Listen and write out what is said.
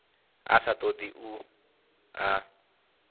a sa todi u ḽa